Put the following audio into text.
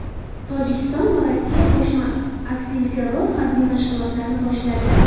Tojikiston va Rossiya qo‘shma aksilterror harbiy mashg‘ulotlarini boshladi.